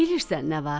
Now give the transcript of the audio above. bilirsən nə var?